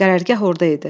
Qərargah orada idi.